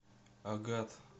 агат